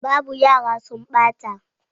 Babu, yara sun ɓata